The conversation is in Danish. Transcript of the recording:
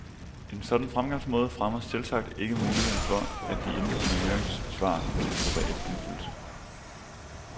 En sådan fremgangsmåde fremmer selvsagt ikke muligheden for, at de indkomne høringssvar kan få reel indflydelse.